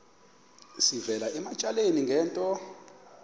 sivela ematyaleni ngento